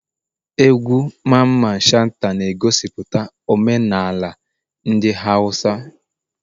Egwu Mamman shata na egosiputa omenala ndi hausa